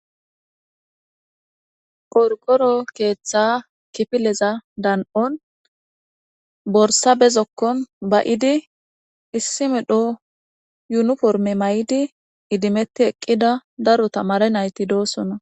Qorqoro keetha kifileza dan'on borsa be zokkon ba'idi,issi medho yuniforme mayidi idimeti eqqida daro tamare nayti doosona.